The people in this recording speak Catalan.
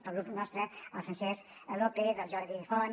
pel grup nostre el francesc lópez el jordi font